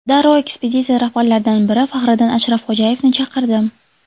Darrov ekspeditsiya rahbarlaridan biri Faxriddin Ashrafxo‘jayevni chaqirdim.